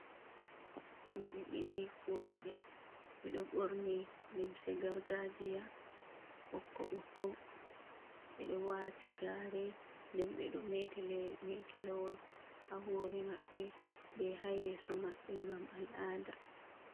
Himɓe ɗiɗi worɓe, ɓe do ɓorni lemse gargaajiya ɓokko-ɓokko, ɓe ɗo waati gaare, nden ɓe ɗo meeti meetalawol ha hoore maɓɓe, be ha yeeso maɓɓe ngam al'ada.